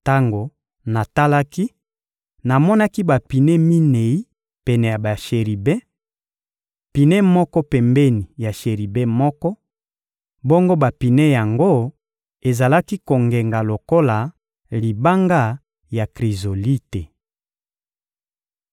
Tango natalaki, namonaki bapine minei pene ya basheribe: pine moko pembeni ya sheribe moko; bongo bapine yango ezalaki kongenga lokola libanga ya Krizolite.